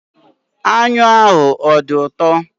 Anyụ ahụ adị ụtọ?